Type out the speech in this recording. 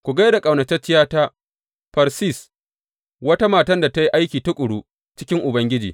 Ku gai da ƙaunatacciyata Fersis, wata matan da ta yi aiki tuƙuru cikin Ubangiji.